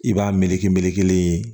I b'a meleke meleke yen